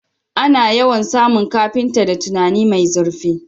Ana yawan samun carpenter da tunani mai zirfi